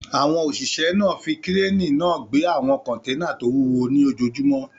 Àwọn òṣìṣẹ́ náà fi kírénì náà gbé àwọn kọ́nténà tó wúwo lójoojúmó